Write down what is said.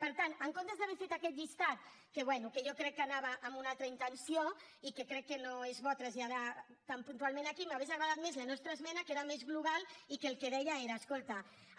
per tant en comptes d’haver fet aquest llistat que bé jo crec que anava amb una altra intenció i que crec que no és bo traslladar tan puntualment aquí m’hauria agradat més la nostra esmena que era més global i que el que deia era escolta